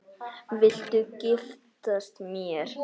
Viltu giftast mér?